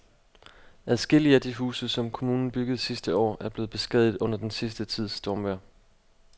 Adskillige af de huse, som kommunen byggede sidste år, er blevet beskadiget under den sidste tids stormvejr.